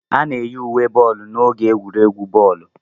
A na-eyi uwe boolu n'oge egwuregwu bọọlụ.